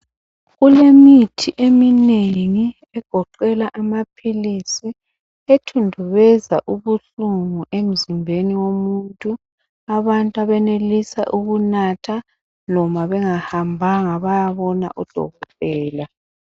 Kulemithi eminengi egoqela amaphilisi ethundubeza ubuhlungu emzimbeni womuntu abantu abenelisa ukunatha loba bengahambanga bayabona udokotela.